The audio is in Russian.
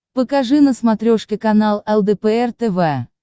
покажи на смотрешке канал лдпр тв